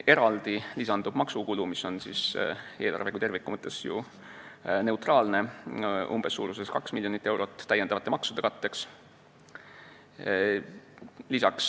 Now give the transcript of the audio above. Eraldi lisandub maksukulu, mis on eelarve kui terviku mõttes ju neutraalne, umbes 2 miljonit eurot lisamaksude katteks.